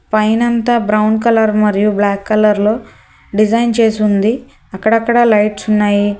పైనంత brown colour మరియు black colour లో design చేసి ఉంది అక్కడక్కడ లైట్స్ ఉన్నాయి.